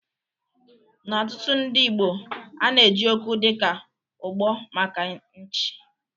Na ọtụ̀tụ̀ ndị Igbo ana-eji okwu dịka "Ụ̀gbọ̀" maka ịnchị.